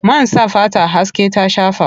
Man sa fata haske ta shafa.